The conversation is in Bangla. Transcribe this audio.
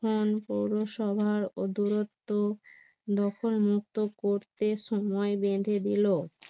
পুরসভার ও দূরত্ব দখল মুক্ত করতে সময় বেঁধে দিল